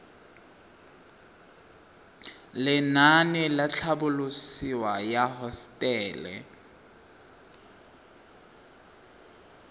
lenaane la tlhabololosewa ya hosetele